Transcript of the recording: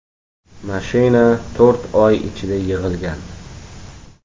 Mashina to‘rt oy ichida yig‘ilgan.